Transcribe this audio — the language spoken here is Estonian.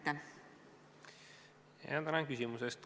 Tänan küsimuse eest!